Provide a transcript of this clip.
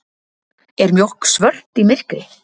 Er mjólk svört í myrkri?